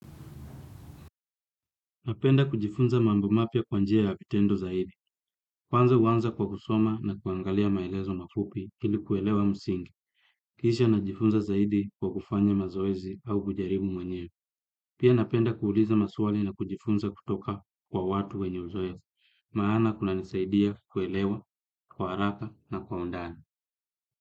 Napenda kujifunza mambo mapya kwa njia ya vitendo zaidi. Kwanza huanza kwa kusoma na kuangalia maelezo mafupi ili kuelewa msingi. Kishia najifunza zaidi kwa kufanya mazoezi au kujaribu mwenyewe. Pia napenda kuuliza maswali na kujifunza kutoka kwa watu wenye uzoefu. Maana kunanisaidia kuelewa kwa haraka na kwa undani.